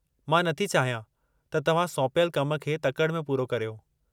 मां नथी चाहियां त तव्हां सौंपियलु कम खे तकड़ि में पूरो करियो।